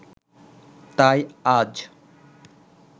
তাই আজ